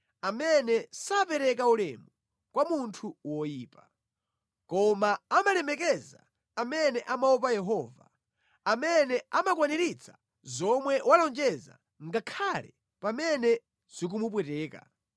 amene sapereka ulemu kwa munthu woyipa. Koma amalemekeza amene amaopa Yehova, amene amakwaniritsa zomwe walonjeza ngakhale pamene zikumupweteka,